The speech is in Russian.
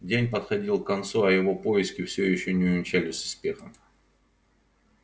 день подходил к концу а его поиски всё ещё не увенчались успехом